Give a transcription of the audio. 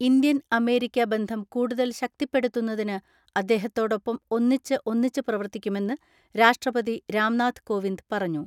Indian America ബന്ധം കൂടുതൽ ശക്തിപ്പെടുത്തുന്നതിന് അദ്ദേഹത്തോടൊപ്പം ഒന്നിച്ച് ഒന്നിച്ച് പ്രവർത്തിക്കുമെന്ന് രാഷ്ട്രപതി രാംനാഥ് കോവിന്ദ് പറഞ്ഞു.